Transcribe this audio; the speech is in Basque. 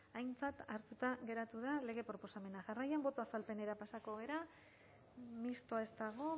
aintzat hartuta geratu da lege proposamena jarraian boto azalpenera pasatuko gara mistoa ez dago